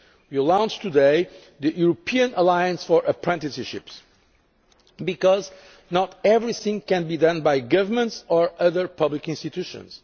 We will launch today the European Alliance for Apprenticeships, because not everything can be done by governments or other public institutions.